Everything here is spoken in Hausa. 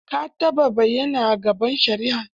Ka taɓa bayyana a gaban shari'a?